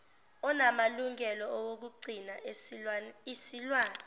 onamalungelo okugcina isilwane